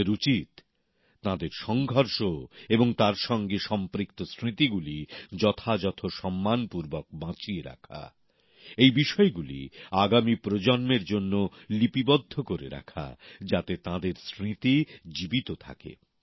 আমাদের উচিৎ তাঁদের সংগ্রাম এবং তার সঙ্গে সম্পৃক্ত স্মৃতিগুলি যথাযথ সম্মানের সঙ্গে বাঁচিয়ে রাখা এই বিষয়গুলি আগামী প্রজন্মের জন্য লিপিবদ্ধ করে রাখা যাতে তাঁদের স্মৃতি অমলিন থাকে